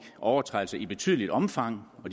overtrædelser i betydeligt omfang og